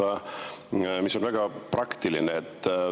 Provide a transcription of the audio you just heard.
See küsimus on väga praktiline.